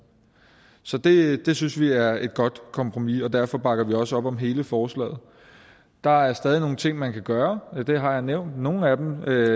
så det det synes vi er et godt kompromis og derfor bakker vi også op om hele forslaget der er stadig nogle ting man kan gøre og nogle af dem vil jeg